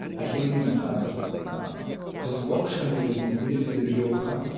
әкемнің і бір і досы болды кішкентай кезінде медреседе бірге оқыған